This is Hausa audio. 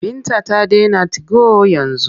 Binta ta dena tigo yanzu.